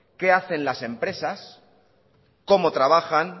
qué hacen las empresas cómo trabajan